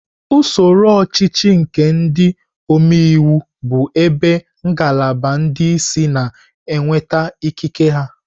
Usoro ọchịchị nke ndị omeiwu bụ ebe ngalaba ndị isi na-enweta ikike ya.